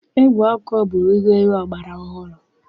Ígwè okwu bụ ngwaegwu ọgbara ọhụrụ.